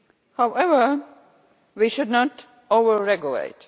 However, we should not over regulate.